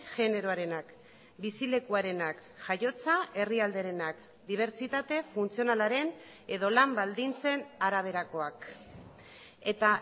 generoarenak bizilekuarenak jaiotza herrialderenak dibertsitate funtzionalaren edo lan baldintzen araberakoak eta